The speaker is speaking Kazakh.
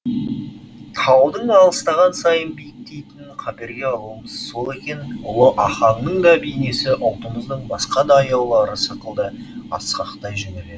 таудың алыстаған сайын биіктейтінін қаперге алуымыз сол екен ұлы ахаңның да бейнесі ұлтымыздың басқа да аяулылары сықылды асқақтай жөнеледі